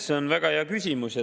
See on väga hea küsimus.